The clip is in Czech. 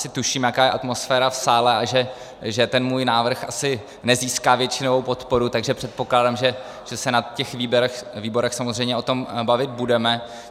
Asi tuším, jaká je atmosféra v sále a že ten můj návrh asi nezíská většinovou podporu, takže předpokládám, že se na těch výborech samozřejmě o tom bavit budeme.